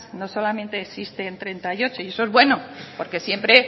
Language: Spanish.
no solamente existen treinta y ocho y eso es bueno porque siempre